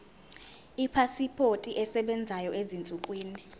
ipasipoti esebenzayo ezinsukwini